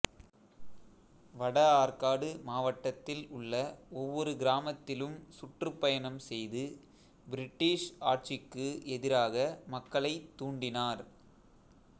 வடஆற்காடு மாவட்டத்தில் உள்ள ஒவ்வொரு கிராமத்திலும் சுற்றுப்பயணம் செய்து பிரிட்டிஷ் ஆட்சிக்கு எதிராக மக்களைத் தூண்டினார்